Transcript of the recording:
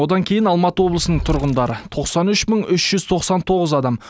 одан кейін алматы облысының тұрғындары тоқсан үш мың үш жүз тоқсан тоғыз адам